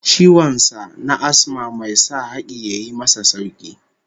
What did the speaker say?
Ciwon sa na Asma mai sa haki ya yi masa sauki